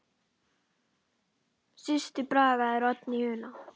Systir Braga er Oddný Una.